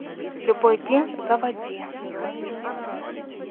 любой день заводи